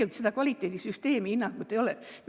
Meil tegelikult kvaliteedisüsteemi hinnangut ei ole.